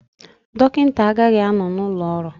Dọkịta agaghị anọ n'ụlọ ọrụ